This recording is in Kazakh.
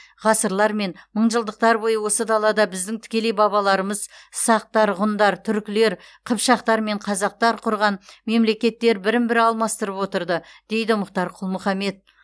ғасырлар мен мыңжылдықтар бойы осы далада біздің тікелей бабаларымыз сақтар ғұндар түркілер қыпшақтар мен қазақтар құрған мемлекеттер бірін бірі алмастырып отырды дейді мұхтар құл мұхаммед